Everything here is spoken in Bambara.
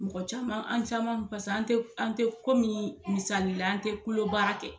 Mɔgɔ caman an caman paseke an te an te komi misali la an tɛ baara kɛ